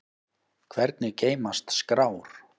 Hvernig geymast skrár?